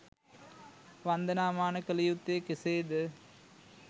වන්දනා මාන කළ යුත්තේ කෙසේද?